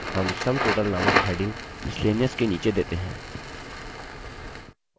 हम sum total नामक heading miscellaneous के अंतर्गत देते हैं